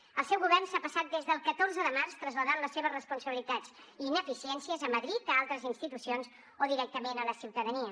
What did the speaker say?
el seu govern s’ha passat des del catorze de març traslladant les seves responsabilitats i ineficiències a madrid a altres institucions o directament a la ciutadania